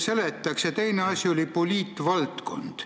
Ja teine asi oli "poliitvaldkond".